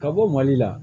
Ka bɔ mali la